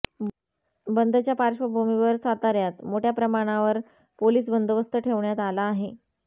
बंदच्या पार्श्वभूमीवर साताऱ्यात मोठ्या प्रमाणावर पोलीस बंदोबस्त ठेवण्यात आला आहे